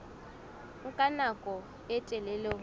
nka nako e telele ho